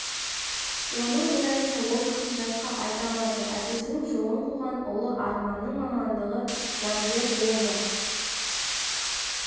оның біразын ол кісі жатқа айта алады әкесінің жолын қуған ұлы арманның мамандығы заңгер ол да